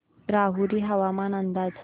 राहुरी हवामान अंदाज